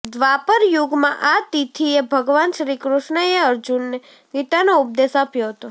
દ્વાપર યુગમાં આ તિથિએ ભગવાન શ્રીકૃષ્ણએ અર્જુનને ગીતાનો ઉપદેશ આપ્યો હતો